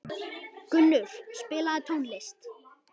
Gunnur, spilaðu tónlist.